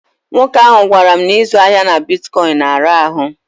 Nwoke ahụ gwara m na ịzụ ahịa na bitkọịnị na-ara ahụ.